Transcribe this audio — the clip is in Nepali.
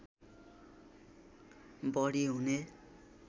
बढी हुने